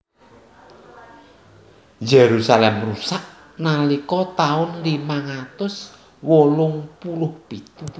Yerusalem rusak nalika taun limang atus wolung puluh pitu